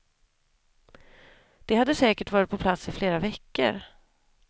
De hade säkert varit på plats i flera veckor.